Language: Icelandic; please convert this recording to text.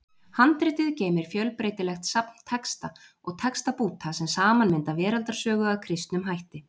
Handritið geymir fjölbreytilegt safn texta og textabúta sem saman mynda veraldarsögu að kristnum hætti.